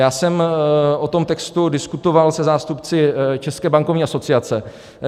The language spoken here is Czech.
Já jsem o tom textu diskutoval se zástupci České bankovní asociace.